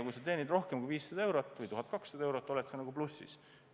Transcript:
Kui sa teenid rohkem kui 500 eurot või 1200 eurot, siis oled ju plussis.